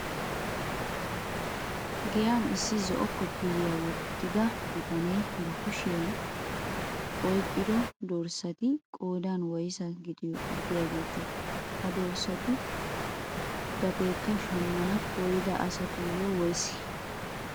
Giyaan issi zo'o kofiyiyaa wottida bitanee ba kushiyaa oyqqido dorssati qoodan woysaa gidiyaagete? ha dorssatu gateekka shammana koyyida asatuyoo woysee?